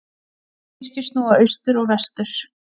Kirkjur snúa austur og vestur.